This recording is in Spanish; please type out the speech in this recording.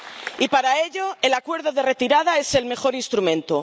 Y, para ello, el Acuerdo de Retirada es el mejor instrumento.